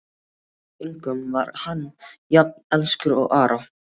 Að engum var hann jafn elskur og Ara.